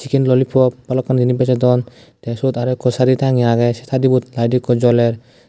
sen lolipop balokkani jinis bejodon te siot arow ikko sadi tange agey se sadibot layit ikko joler.